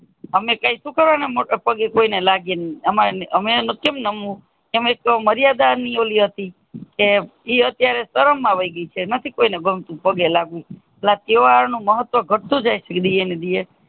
અમે કાય સુ કરવા મોટે પગે કોઈ ને લાગે લાગીયે અમારે અમે કેમ નમવું અમે તોહ મર્યાદા ની ઓલી હતી કે અતિયારે શરમ વૈગઇ છે નથી કોઈ ને ગમતું પગે લાગે તહેવાર નું મહત્તવ ઘટતું જાય છે દીયે ને દીયે